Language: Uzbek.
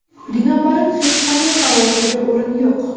Binobarin, hech qanday xavotirga o‘rin yo‘q.